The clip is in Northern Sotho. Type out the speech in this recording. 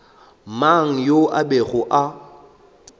mang yo a bego a